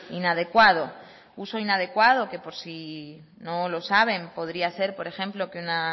inadecuado uso inadecuado que por si no lo saben podría ser por ejemplo que una